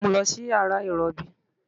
Mu u lọ si yara irọbi